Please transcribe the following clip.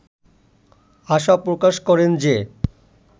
আশা প্রকাশ করেন যে